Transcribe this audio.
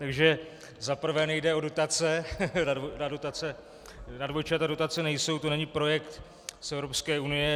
Takže za prvé nejde o dotace, na dvojčata dotace nejsou, to není projekt z Evropské unie.